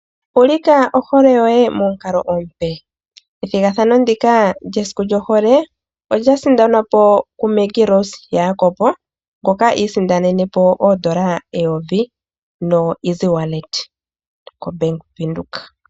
Ulika ohole yoye momukalo omupe. Ethigathano ndika lyesiku lyohole olya sindanwapo kuMaggie Rose Jacob ngoka iisindanenepo oodola eyovi kongodhi ye yopeke nombaanga yaVenduka .